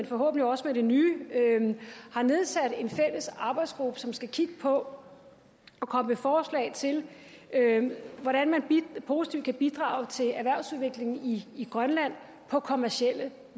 forhåbentlig også med det nye har nedsat en fælles arbejdsgruppe som skal kigge på og komme med forslag til hvordan man positivt kan bidrage til erhvervsudviklingen i grønland på kommercielle